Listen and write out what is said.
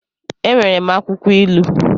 E nwere m akwụkwọ ilu